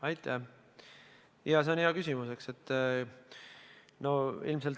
Aitäh, see on hea küsimus!